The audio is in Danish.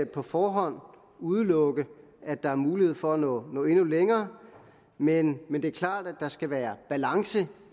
på forhånd udelukke at der er mulighed for at nå endnu længere men men det er klart at der skal være balance